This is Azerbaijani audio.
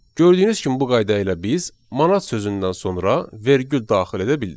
Gördüyünüz kimi bu qayda ilə biz manat sözündən sonra vergül daxil edə bildik.